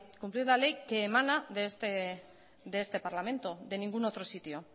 cumplir la ley que emana de este parlamento de ningún otro sitio